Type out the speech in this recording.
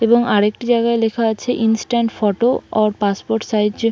এবং আর একটি জায়গায় লেখা আছে instant photo or passport size A--